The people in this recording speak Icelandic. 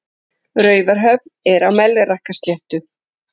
Raufarhöfn er á Melrakkasléttu.